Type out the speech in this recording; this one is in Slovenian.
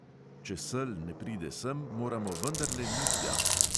Če sel ne pride sem, moramo vendarle mi tja.